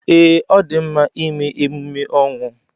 Ee, ọ dị mma ịme emume ọnwụ.